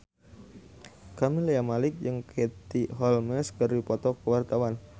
Camelia Malik jeung Katie Holmes keur dipoto ku wartawan